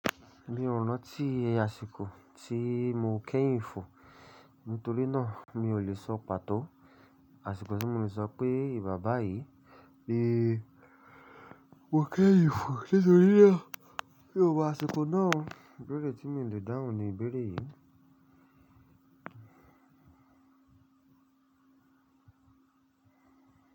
Mi ò ranti àsìkò tí mò kẹ́yinì fo, nítorí náà mi ò lè sọ pàtó àsìkò tí mò lè sọ pé ìgba bayìí ni Mó ń kẹ́yin fo nítorí náà, bí ò bá sí àsìkò náà, ìbéèrè tí mò lè dáhùn ni ìbéèrè yìí.